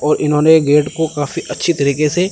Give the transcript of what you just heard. और इन्होंने गेट को काफी अच्छी तरीके से--